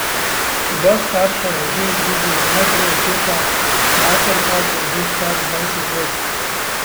Oba starša je že izgubil, najprej očeta, mater pa, ko je bil star dvajset let.